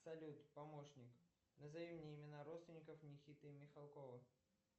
салют помощник назови мне имена родственников никиты михалкова